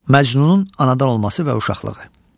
Məcnunun anadan olması və uşaqlığı.